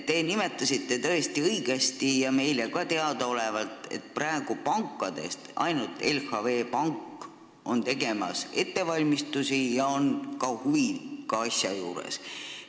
Te nimetasite tõesti õigesti – meile on see ka teada –, et praegu teeb pankadest ainult LHV Pank ettevalmistusi ja on huviga asja juures.